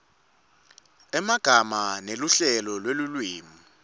emagama neluhlelo lwelulwimi